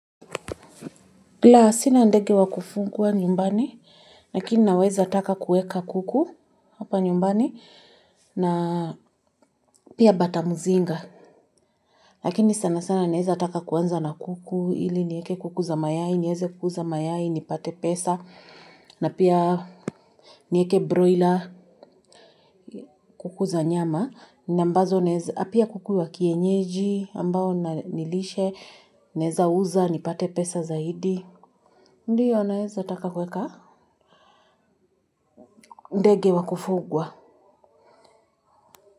La sina ndege wa kufungwa nyumbani. Lakini naweza taka kueka kuku hapa nyumbani na pia bata muzinga. Lakini sana sana naweza taka kuanza na kuku hili nieke kuku za mayai, nieze kuuza mayai, nipate pesa. Na pia nieke broila kuku za nyama. Na ambazo naeza pia kuku wa kienyeji ambao na nilishe naweza uza, nipate pesa zaidi. Ndiyo naweza taka kueka. Ndege wa kufugwa.